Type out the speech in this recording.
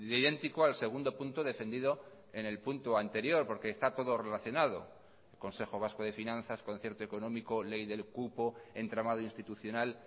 idéntico al segundo punto defendido en el punto anterior porque está todo relacionado consejo vasco de finanzas concierto económico ley del cupo entramado institucional